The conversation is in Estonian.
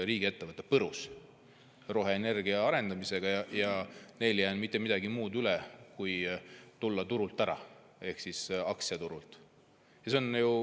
Riigiettevõte põrus roheenergia arendamisel ja neil ei jäänud mitte midagi muud üle kui tulla ära turult, aktsiaturult.